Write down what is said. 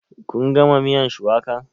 Kun gama miyan shuwakan?